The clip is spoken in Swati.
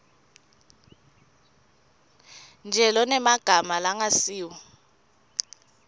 nje lonemagama langasiwo